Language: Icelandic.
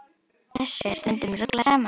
Þessu er stundum ruglað saman.